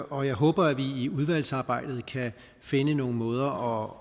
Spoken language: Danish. og jeg håber at vi i udvalgsarbejdet kan finde nogle måder